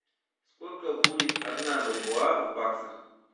сколько будет одна бальбоа в баксах